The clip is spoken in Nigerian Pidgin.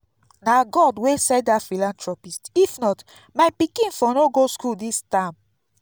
na god wey send dat philanthropist if not my pikin no for go school dis term